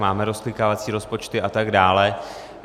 Máme rozklikávací rozpočty a tak dále.